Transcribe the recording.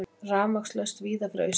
Rafmagnslaust víða fyrir austan